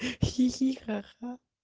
хи-хи ха-ха